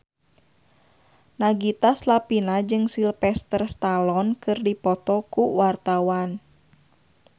Nagita Slavina jeung Sylvester Stallone keur dipoto ku wartawan